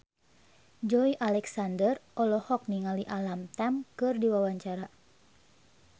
Joey Alexander olohok ningali Alam Tam keur diwawancara